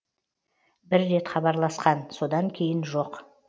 бір рет хабарласқан содан кейін жоқ